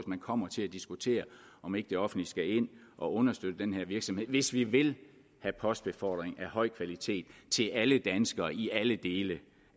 man kommer til at diskutere om ikke det offentlige skal ind og understøtte den her virksomhed hvis vi vil have postbefordring af høj kvalitet til alle danskere i alle dele